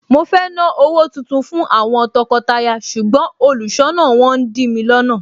Mo fẹ́ ná owó tuntun fún àwọn tọkọtaya ṣùgbọ́n olùṣọ́nà wọn ń dìmi lọ́nà.